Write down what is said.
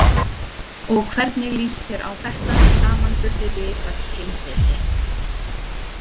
Og hvernig líst þér á þetta í samanburði við öll hin fyrri?